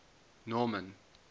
norman